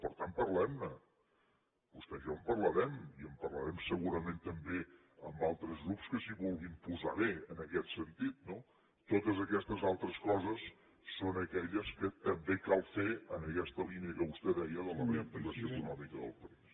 per tant parlem ne vostè i jo en parlarem i en parlarem segurament també amb altres grups que s’hi vulguin posar bé en aquest sentit no totes aquestes altres coses són aquelles que també cal fer en aquesta línia que vostè deia de la reactivació econòmica del país